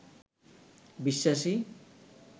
বিশ্বাসী